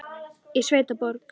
Í sveit og borg.